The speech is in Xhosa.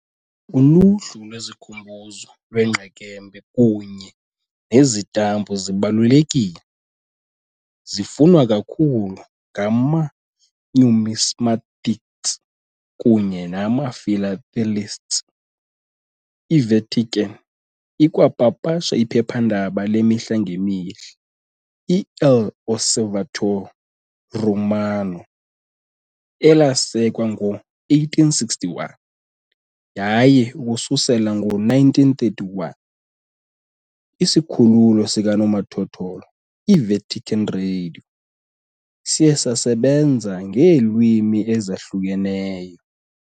Uluhlu lwesikhumbuzo lweengqekembe kunye nezitampu zibalulekile, zifunwa kakhulu ngama-numismatists kunye nama-philatelists . IVatican ikwapapasha iphephandaba lemihla ngemihla, "iL'Osservatore Romano", elasekwa ngo-1861, yaye ukususela ngo-1931, isikhululo sikanomathotholo, iVatican Radio, siye sasebenza ngeelwimi ezahlukahlukeneyo.